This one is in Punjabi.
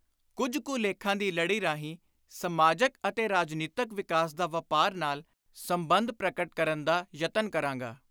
ਕੁਝ ਕੁ ਲੇਖਾਂ ਦੀ ਲੜੀ ਰਾਹੀਂ ਸਮਾਜਕ ਅਤੇ ਰਾਜਨੀਤਕ ਵਿਕਾਸ ਦਾ ਵਾਪਾਰ ਨਾਲ ਸੰਬੰਧ ਪ੍ਰਗਟ ਕਰਨ ਦਾ ਯਤਨ ਕਰਾਂਗਾ।